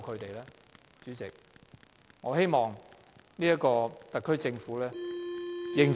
代理主席，我希望特區政府認真檢討。